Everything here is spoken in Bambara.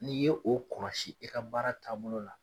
N'i ye o kɔlɔsi ka baara taabolo la.